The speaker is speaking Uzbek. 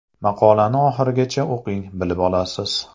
Maqolani oxirigacha o‘qing, bilib olasiz.